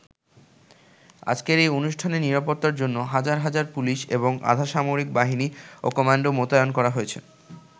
আজকের এই অনুষ্ঠানের নিরাপত্তার জন্য হাজার হাজার পুলিশ এবং আধা সামরিক বাহিনী ও কমান্ডো মোতায়েন করা হয়েছে।